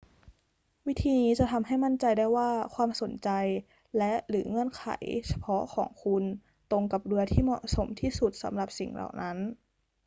วิธีนี้จะทำให้มั่นใจได้ว่าความสนใจและ/หรือเงื่อนไขเฉพาะของคุณตรงกับเรือที่เหมาะสมที่สุดสำหรับสิ่งเหล่านั้น